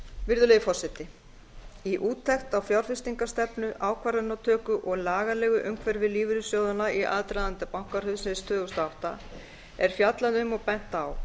virðulegi forseti í úttekt á fjárfestingarstefnu ákvarðanatöku og lagalegu umhverfi lífeyrissjóðanna í aðdraganda bankahrunsins tvö þúsund og átta er fjallað um og bent á